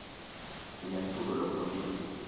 sinemculo lopholile